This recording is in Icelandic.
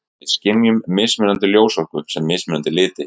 Við skynjum mismunandi ljósorku sem mismunandi liti.